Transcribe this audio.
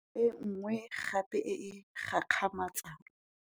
E nngwe gape e e gakgamatsang.